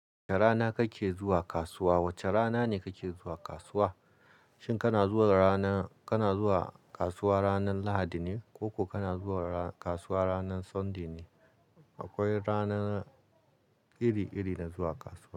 Wace rana kake zuwa kasuwa? Wace rana ne kake zuwa kasuwa? Shin kana zuwa rana, kana zuwa kasuwa ranan Lahadi ne ko kuma kana zuwa kasuwa ranan Sunday ne? Akwai rana iri-iri na zuwa kasuwa.